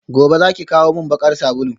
gobe zaki kawo min bakar sabulu?